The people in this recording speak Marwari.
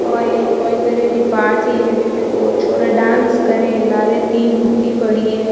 वो एक कोई तरह री पार्टी है बीमे दो छोरा डांस करे लारे तीन मूर्ती पड़ी है।